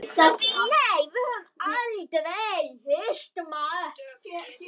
Nei, við höfum aldrei hist.